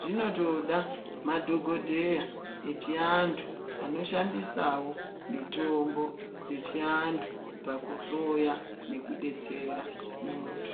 zvinotoda madhokodheya echiandu anoshandisawo mitombo dzechiandu pakuhloya nekudetsera muntu.